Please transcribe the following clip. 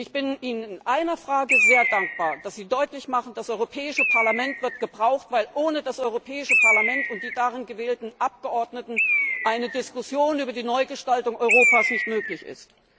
Ich bin Ihnen in einer Frage sehr dankbar, nämlich dass Sie deutlich machen, dass das Europäische Parlament gebraucht wird, weil ohne das Europäische Parlament und die darin gewählten Abgeordneten eine Diskussion über die Neugestaltung Europas nicht möglich ist.